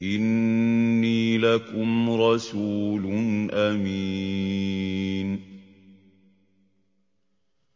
إِنِّي لَكُمْ رَسُولٌ أَمِينٌ